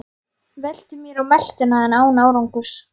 Ég velti mér á meltuna en án árangurs.